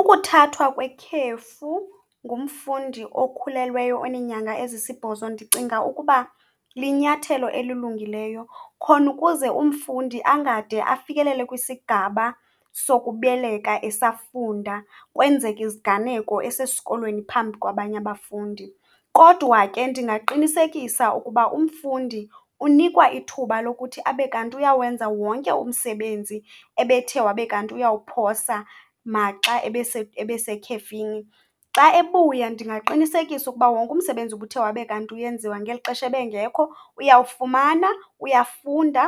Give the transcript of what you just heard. Ukuthathwa kwekhefu ngumfundi okhulelweyo oneenynaga ezisibhozo ndicinga ukuba linyathelo elilungileyo khona ukuze umfundi angade afikelele kwisigaba sokubeleka esafunda kwenzeke iziganeko esesikolweni phambi kwabanye abafundi. Kodwa ke ndingaqinisekisa ukuba umfundi unikwa ithuba lokuthi abe kanti uyawenza wonke umsebenzi ebethe wabe kanti uyawuphosa maxa ebesekhefini. Xa ebuya ndingaqinisekisa ukuba wonke umsebenzi ubuthe wabe kanti uyenziwa ngeli xesha ebengekho uyawufumana, uyafunda